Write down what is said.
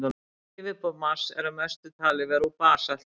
Yfirborð Mars er að mestu talið vera úr basalti.